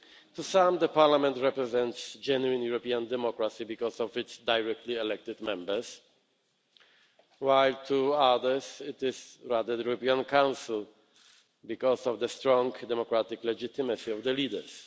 To some, it is Parliament that represents genuine European democracy because of its directly elected Members, while to others it is rather the European Council because of the strong democratic legitimacy of the leaders.